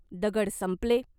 दगड संपले.